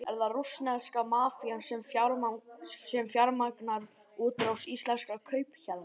Er það rússneska mafían sem fjármagnar útrás íslenskra kaupahéðna?